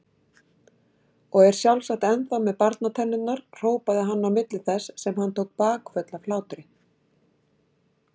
Og er sjálfsagt ennþá með barnatennurnar hrópaði hann á milli þess sem hann tók bakföll af hlátri.